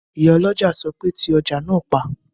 Ìyálọ́jà sọ pé "ti ọjà náà pa!"